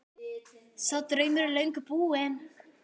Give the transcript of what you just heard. Sá draumur er löngu búinn.